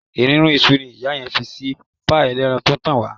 Èrúnrún iṣu ni ìyá yẹn fi sí páì ẹlẹ́ran tó ń tàn wá.